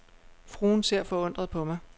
Fruen ser forundret på mig.